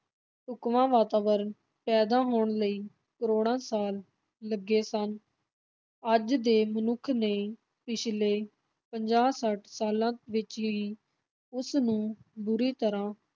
ਢੁੱਕਵਾਂ ਵਾਤਾਵਰਨ ਪੈਦਾ ਹੋਣ ਲਈ ਕਰੋੜਾਂ ਸਾਲ ਲੱਗੇ ਸਨ, ਅੱਜ ਦੇ ਮਨੁੱਖ ਨੇ ਪਿਛਲੇ ਪੰਜਾਹ-ਸੱਠ ਸਾਲਾਂ ਵਿਚ ਹੀ ਉਸਨੂੰ ਬੁਰੀ ਤਰ੍ਹਾਂ